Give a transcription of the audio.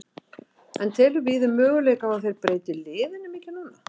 En telur Víðir möguleika á að þeir breyti liðinu mikið núna?